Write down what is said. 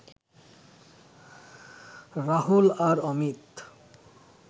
রাহুল আর অমিত